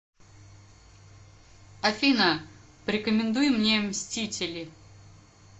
афина порекомендуй мне мстители